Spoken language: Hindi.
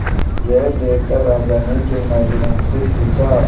यह देखकर राजा ने तेनालीराम से पूछा